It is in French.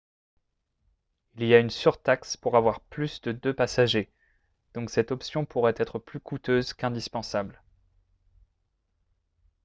il y a une surtaxe pour avoir plus de deux passagers donc cette option pourrait être plus coûteuse qu'indispensable